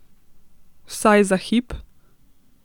Vsaj za hip?